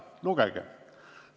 Lugege!